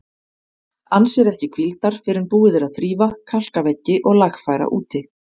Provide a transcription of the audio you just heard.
Ann sér ekki hvíldar fyrr en búið er að þrífa, kalka veggi og lagfæra úti.